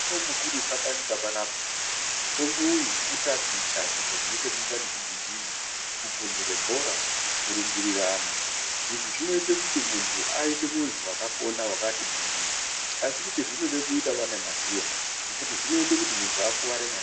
Mutombo mukurusa panyika panapa, mutombo uyu kutaticha zviro zvine chekuita nekugijima, kupunhure bhora, kurumbirirana. Izvi zvinoite kuti muntu aite muntu wakapona wakati gwindiri. Asi kuti zvinode kuitavo ane maziya, ngekuti zvinoite kuti muntu akuware maningi.